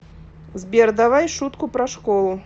сбер давай шутку про школу